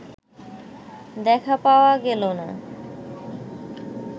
দেখা পাওয়া গেল না